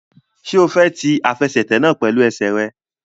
Ṣé o fẹ́ ti àfẹsẹ̀tẹ̀ náà pẹ̀lú ẹsẹ̀ rẹ?